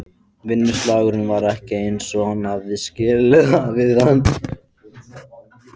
Vinnusalurinn var ekki eins og hann hafði skilið við hann.